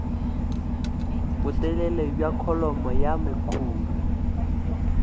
botelele bja kholomo ya mekhuri